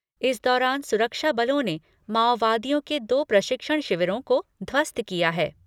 इस दौरान सुरक्षा बलों ने माओवादियों के दो प्रशिक्षण शिविरों को ध्वस्त किया है।